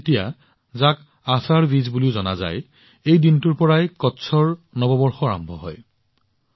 আষাধ দ্বিতীয়া যাক আষাধী বিজ বুলিও জনা যায় সেই দিনটোৰ পৰা কচ্ছৰ নৱবৰ্ষ আৰম্ভ হয়